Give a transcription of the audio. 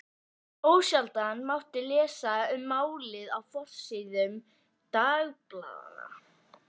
Ósjaldan mátti lesa um málið á forsíðum dagblaðanna.